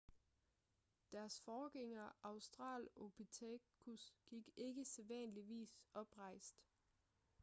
deres forgængere australopithecus gik ikke sædvanligvis oprejst